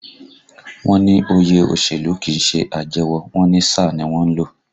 Wọ́n ní òye òṣèlú kìí ṣe àjẹwọ̀, wọ́n ní sáà ni wọ́n ń lò